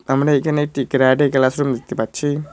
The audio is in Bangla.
আমরা এখানে একটি কেরাটে ক্লাস রুম দেখতে পাচ্ছি।